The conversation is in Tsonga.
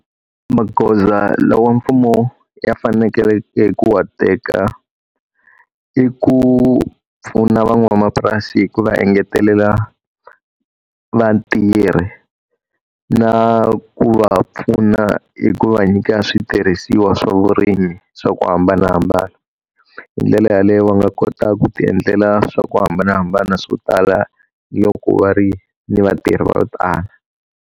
Magoza lawa mfumo ya fanekeleke ku wa teka i ku pfuna van'wamapurasi hi ku va engetelela vatirhi, na ku va pfuna hi ku va nyika switirhisiwa swa vurimi swa ku hambanahambana. Hi ndlela yaleyo va nga kota ku ti endlela swa ku hambanahambana swo tala loko va ri ni vatirhi va ku tala.